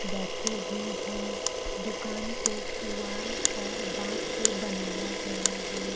बैठी भी हैं दुकान को पुआल और बाँस से बनाया गया है।